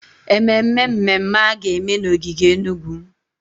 Ememme mmemme a ga-eme n'ogige Enugwu.